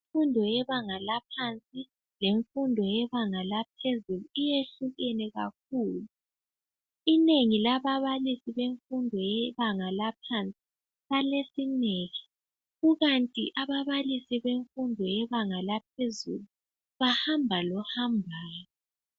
Imfundo yebanga laphansi lemfundo yebanga laphezulu iyehlukene kakhulu. Inengi lababalisi bemfundo yebanga laphansi balesineke ikanti ababalisi bemfundo yebanga laphezulu bahamba lohambayo.